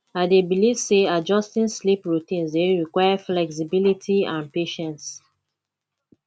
i dey believe say adjusting sleep routines dey require flexibility and patience